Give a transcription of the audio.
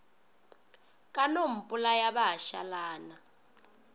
ka no mpolaya ba šalana